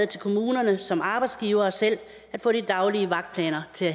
til kommunerne som arbejdsgivere selv at få de daglige vagtplaner til